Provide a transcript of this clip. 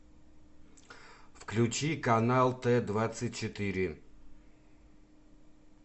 включи канал т двадцать четыре